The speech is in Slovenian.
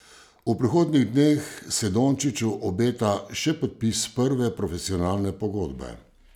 V prihodnjih dneh se Dončiću obeta še podpis prve profesionalne pogodbe.